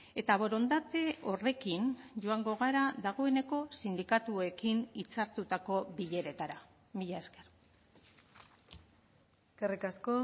eta borondate horrekin joango gara dagoeneko sindikatuekin hitzartutako bileretara mila esker eskerrik asko